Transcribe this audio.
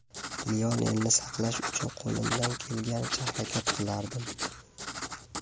Lionelni saqlash uchun qo‘limdan kelganicha harakat qilardim.